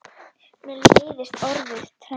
Mér leiðist orðið trend.